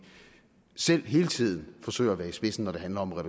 selv hele tiden forsøger at være i spidsen når det handler om at